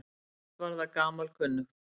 Allt var það gamalkunnugt.